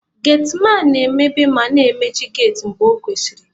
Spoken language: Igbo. Getiman na-emepe ma na emechi geti mgbe ọ kwesịrị.